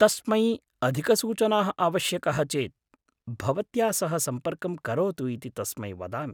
तस्मै अधिकसूचनाः आवश्यक्यः चेत् भवत्या सह सम्पर्कं करोतु इति तस्मै वदामि।